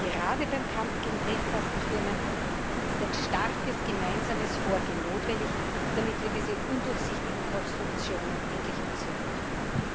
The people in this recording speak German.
Gerade beim Kampf gegen Briefkastenfirmen ist ein starkes gemeinsames Vorgehen notwendig, damit wir diese undurchsichtigen Konstruktionen endlich aushebeln können.